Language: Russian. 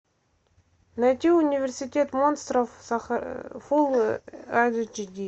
найди университет монстров фул айч ди